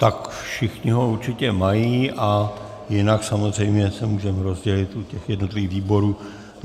Tak všichni ho určitě mají a jinak samozřejmě se můžeme rozdělit u těch jednotlivých výborů.